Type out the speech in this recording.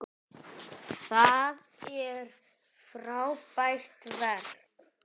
Það er frábært verk.